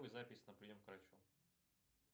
запись на прием к врачу